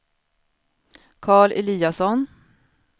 Carl Eliasson